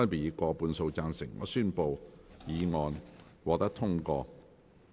我宣布議案獲得通過。